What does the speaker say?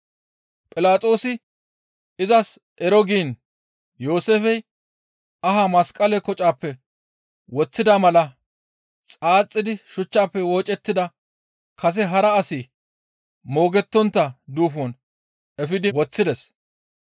Philaxoosi izas ero giin Yooseefey ahaa masqale kocappe woththida mala xaaxidi shuchchafe woocettida kase hara asi moogettontta duufon efidi woththides.